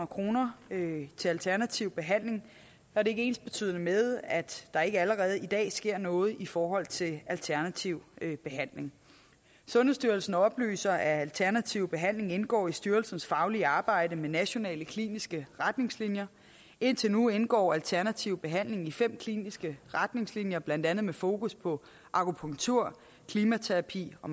kroner til alternativ behandling er det ikke ensbetydende med at der ikke allerede i dag sker noget i forhold til alternativ behandling sundhedsstyrelsen oplyser at alternativ behandling indgår i styrelsens faglige arbejde med nationale kliniske retningslinjer indtil nu indgår alternativ behandling i fem kliniske retningslinjer blandt andet med fokus på akupunktur klimaterapi og